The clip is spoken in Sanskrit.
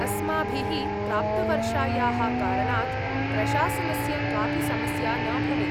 अस्माभिः प्राप्तवर्षायाः कारणात्, प्रशासनस्य कापि समस्या न भवेत्।